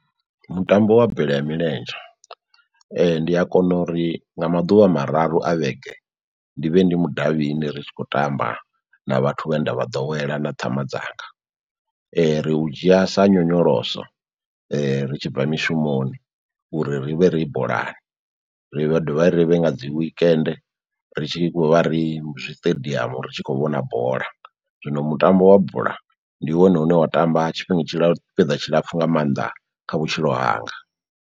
Mutambo wa bola ya milenzhe ndi a kona uri nga maḓuvha mararu a vhege ndi vhe ndi mudavhini ri tshi khou tamba na vhathu vhe nda vha ḓowela na ṱhama dzanga, ri u dzhia sa nyonyoloso ri tshi bva mishumoni uri ri vhe ri bolani, ri dovha ri vhe nga dzi weekend ri tshi vha ri zwiṱediamu ri tshi khou vhona bola. Zwino mutambo wa bola ndi wone une wa tamba tshifhinga tshila tsipiḓa tshilapfhu nga mannḓa kha vhutshilo hanga.